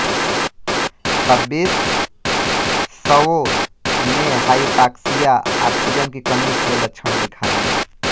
छब्बीस शवों ने हाइपॉक्सिया ऑक्सीजन की कमी के लक्षण दिखाए